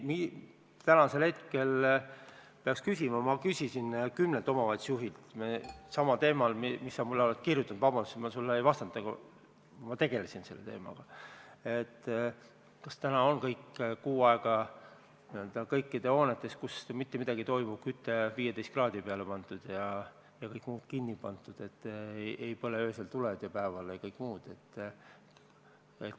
Tänasel hetkel peaks küsima – ma küsisin kümnelt omavalitsuse juhilt samal teemal, millel sa mulle oled kirjutanud, vabandust, et ma sulle ei vastanud, ma tegelesin selle teemaga –, kas täna on ikka kõikides hoonetes, kus mitte midagi ei toimu, viimased kuu aega küte 15 kraadi peale keeratud ja kõik muu kinni pandud, nii et öösel ja päeval tuled ei põleks.